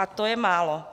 A to je málo.